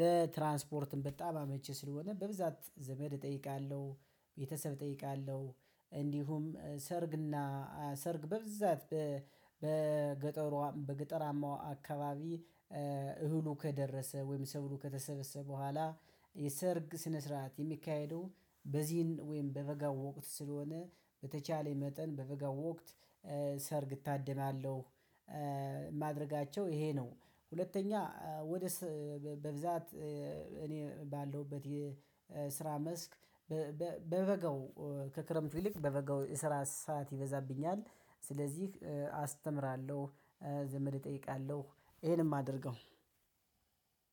ለትራንስፖርት በጣም አመቺ ስለሆነ በብዛት ዘመድ እጠይቃለሁ። ቤተሰብ እጠይቃለሁ እንዲሁም ሰርግና ሰርግ በብዛት በገጠሯ በገጠራማው አካባቢ እህሉ ከደረሰ ወይም ሰብሉ ከተሰበሰበ በኋላ የሰርግ ስነ ስርዓት የሚካሄደው በዚህን ወይም በበጋ ወቅት ስለሆነ በተቻለኝ መጠን በበጋ ወቅት ሰርግ እታድማለሁ። ማድረጋቸው ይሄ ነው። ሁለተኛ ወደ በብዛት እኔ ባለሁበት የስራ መስክ። በበጋው ከክረምቱ ይልቅ በበጋው የስራት ሰዓት ይበዛብኛል ስለዚህ አስተምራለሁ። ዘመድ እጠይቃለሁ ይሄን ነእ የማደርገው።